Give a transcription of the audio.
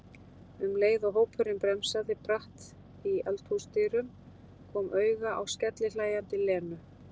um leið og hópurinn bremsaði bratt í eldhúsdyrum, kom auga á skellihlæjandi Lenu.